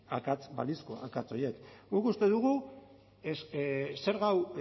akats balizko akats horiek guk uste dugu zerga hau